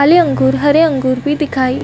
अउ ये अंगूर हरे अंगूर भी दिखाई --